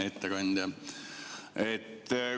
Hea ettekandja!